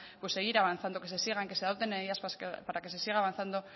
pues seguir avanzando que se sigan que se adopten medidas para que se siga avanzando